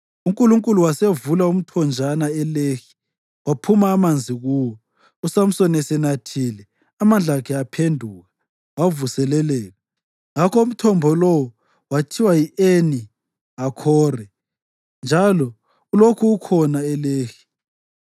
UNkulunkulu wasevula umthonjana eLehi, kwaphuma amanzi kuwo. USamsoni esenathile, amandla akhe aphenduka, wavuseleleka. Ngakho umthombo lowo wathiwa yi-Eni Hakhore, njalo ulokhu ukhona eLehi.